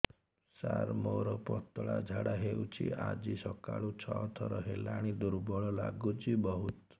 ସାର ମୋର ପତଳା ଝାଡା ହେଉଛି ଆଜି ସକାଳୁ ଛଅ ଥର ହେଲାଣି ଦୁର୍ବଳ ଲାଗୁଚି ବହୁତ